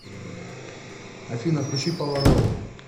афина включи полароид